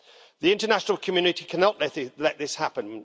The international community cannot let this happen.